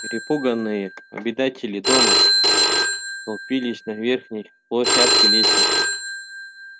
перепуганные обитатели дома столпились на верхней площадке лестницы